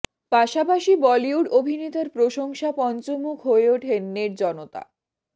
পাশাপাশি বলিউড অভিনেতার প্রশংসা পঞ্চমুখ হয়ে ওঠেন নেট জনতা